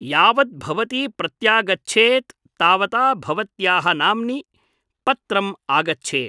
यावत् भवती प्रत्यागच्छेत् तावता भवत्याः नाम्नि पत्रम् आगच्छेत् ।